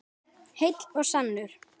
Heill og sannur.